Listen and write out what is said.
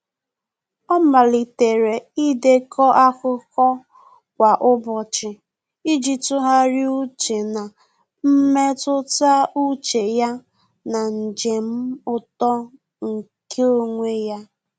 Ọ́ màlị́tèrè ídèkọ́ ákụ́kọ́ kwa ụ́bọ̀chị̀ iji tụ́gharị́a úchè na mmetụta úchè ya na njem uto nke onwe ya.